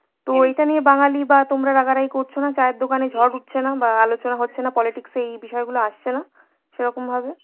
তো এটা নিয়ে বাঙালি বা তোমরা রাগারাগি করছো না, চায়ের দোকানে ঝড় উঠছে না বা আলোচনা হচ্ছে না, politics এ এই বিষয়গুলো আসছে না, সেরকম ভাবে?